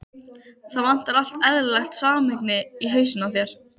Það vantar allt eðlilegt samhengi í hausinn á þér.